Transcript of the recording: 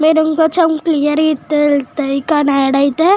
మేరు ఇక కానీ ఆడితే --